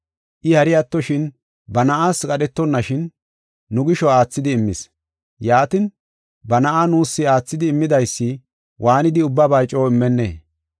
I hari attoshin, ba na7aas qadhetonnashin, nu gisho aathidi immis. Yaatin, ba na7aa nuus aathidi immidaysi waanidi ubbaba coo immennee?